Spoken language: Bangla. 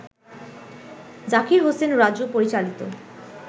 জাকির হোসেন রাজু পরিচালিত